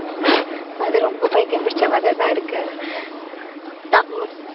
அது ரொம்ப பைத்தியம் பிடிச்ச மாதிரிதான் இருக்கு. தம்~